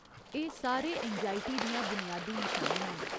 एह् सारे एंगजाइयी दियां बुनियादी नशानियां न।